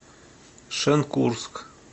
шенкурск